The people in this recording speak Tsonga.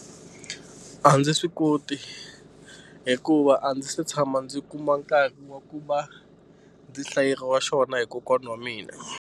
A ndzi swi koti hikuva a ndzi se tshama ndzi kuma nkarhi wa ku va ndzi hlayeriwa xona hi kokwana wa mina.